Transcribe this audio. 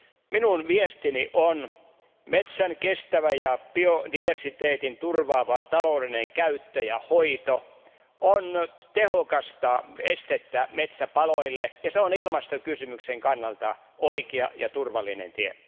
Minun viestini on se, että metsän kestävä ja biodiversiteetin turvaava taloudellinen käyttö ja hoito on tehokas este metsäpaloille ja se on ilmastokysymyksen kannalta oikea ja turvallinen tie.